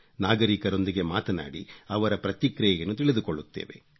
ನಾಗರೀಕರೊಂದಿಗೆ ಮಾತನಾಡಿ ಅವರ ಪ್ರತಿಕ್ರಿಯೆಯನ್ನು ತಿಳಿದುಕೊಳ್ಳುತ್ತೇವೆ